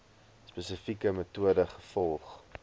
spesifieke metode gevolg